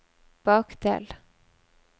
bakdel